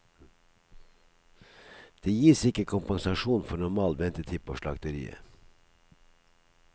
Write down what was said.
Det gis ikke kompensasjon for normal ventetid på slakteriet.